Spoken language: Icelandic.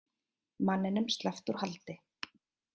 Manninum sleppt úr haldi